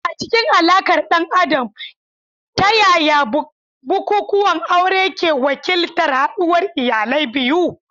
A cikin alaƙar ɗan adam, ta yaya bukukuwan aure ke wakiltar haɗuwar iyalai biyu?